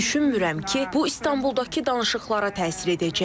Düşünmürəm ki, bu İstanbuldakı danışıqlara təsir edəcək.